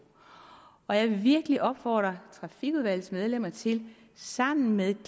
og jeg vil virkelig opfordre trafikudvalgets medlemmer til sammen med